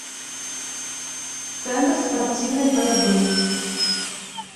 центр спортивной борьбы